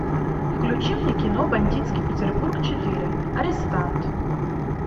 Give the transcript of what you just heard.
включи мне кино бандитский петербург четыре арестант